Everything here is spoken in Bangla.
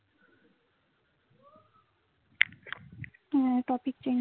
হ্যাঁ topic change